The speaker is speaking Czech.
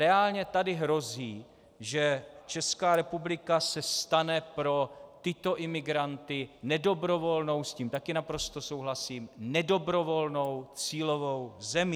Reálně tady hrozí, že Česká republika se stane pro tyto imigranty nedobrovolnou - s tím také naprosto souhlasím - nedobrovolnou cílovou zemí.